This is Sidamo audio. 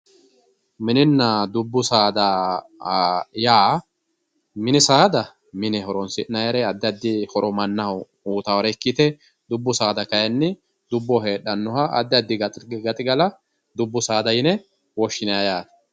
MIninna dubbu saada yaa, mini saada mine horonsi'nannire addi addi horo mannaho uyittanore ikkite dubbu saada kayinni dubboho heeranoha addi addi gaxigalla dubbu saada yine woshshinanni yaate.